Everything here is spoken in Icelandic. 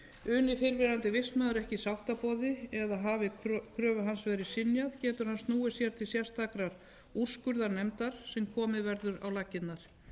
uni fyrrverandi vistmaður ekki sáttaboði eða hafi kröfu hans verið synjað getur hann snúið sér til sérstakrar úrskurðarnefndar sem komið verður á laggirnar